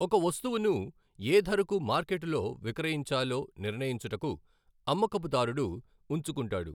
ఒక వస్తువును ఏ ధరకు మార్కెటులో విక్రయించాలో నిర్ణయించుటకు అమ్మకపుదారుడు వుంచుకుంటాడు.